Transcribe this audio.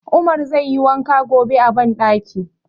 Umar zai yi wanka gobe a banɗaki.